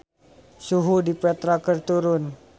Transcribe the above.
Suhu di Petra keur turun